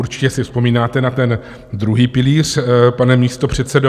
Určitě si vzpomínáte na ten druhý pilíř, pane místopředsedo.